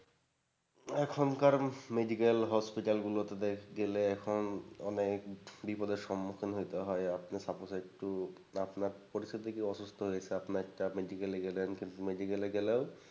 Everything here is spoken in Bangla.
এখনকার medical hospital গুলোতে গেলে এখন অনেক বিপদের সম্মুখীন হতে হয় আপনি suppose একটু আপনার পরীক্ষা দিতে গিয়ে অসুস্থ হয়েচ্ছে আপনি একটা medical গেলেন কিন্তু medical এ গেলেও,